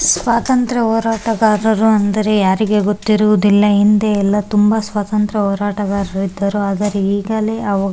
ಸ್ವಾತಂತ್ರ್ಯ ಹೋರಾಟಗಾರರು ಎಂದರೆ ಯಾರಿಗೆ ಗೊತ್ತಿರುವುದಿಲ್ಲ ಹಿಂದೆ ಎಲ್ಲ ತುಂಬ ಸ್ವಾತಂತ್ರ್ಯ ಹೋರಾಟಗಾರರು ಇದ್ದರು ಆದರೆ ಈಗಲೇ ಅವರು --